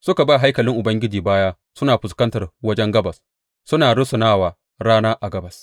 Suka ba haikalin Ubangiji baya suna fuskanta wajen gabas, suna rusuna wa rana a gabas.